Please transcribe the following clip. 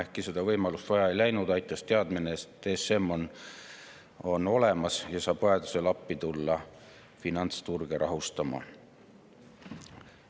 Ehkki seda võimalust vaja ei läinud, aitas teadmine, et ESM on olemas ja saab vajaduse korral tulla appi finantsturge rahustama.